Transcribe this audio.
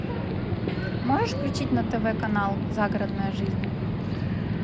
можешь включить на тв канал загородная жизнь